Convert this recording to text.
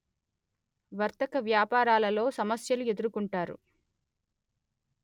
వర్తక వ్యాపారాలలో సమస్యలు ఎదుర్కొంటారు